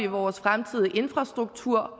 vores fremtidige infrastruktur